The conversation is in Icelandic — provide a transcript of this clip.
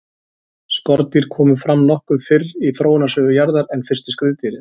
skordýr komu fram nokkuð fyrr í þróunarsögu jarðar en fyrstu skriðdýrin